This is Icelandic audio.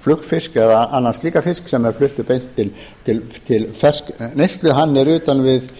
flugfisk eða annan slíkan fisk sem er fluttur beint til neyslu hann er utan við